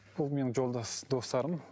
бұл менің жолдас достарым